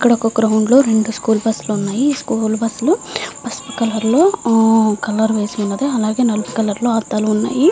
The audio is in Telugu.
ఇక్కడ ఒక గ్రౌండ్ లో రెండు స్కూల్ బస్సు లు ఉన్నాయి. అ బస్సు లు కి పసుపు కలర్ లో ఆ కలర్ వేసి ఉంది. అలాగే నలుపు కలర్ లో అద్దాలు ఉన్నాయి.